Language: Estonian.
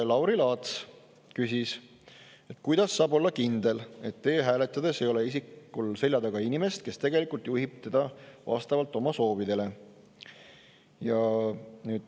Lauri Laats küsis, kuidas saab olla kindel, et e-hääletades ei ole isikul selja taga inimest, kes tegelikult juhib teda vastavalt oma soovidele.